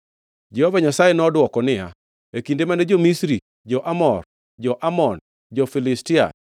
Jehova Nyasaye nodwoko niya, “E kinde mane jo-Misri, jo-Amor, jo-Amon, jo-Filistia,